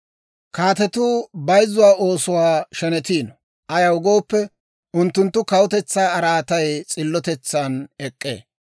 Kaatetuu bayzzuwaa oosuwaa shenetiino; ayaw gooppe, unttunttu kawutetsaa araatay s'illotetsan ek'k'ee.